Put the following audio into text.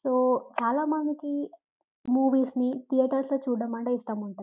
So చాలామందికి movies ని థియేటర్లో చూడడం అనేది ఇష్టం ఉంటుంది.